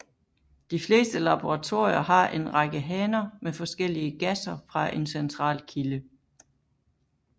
De fleste laboratorier har en række haner med forskellige gasser fra en central kilde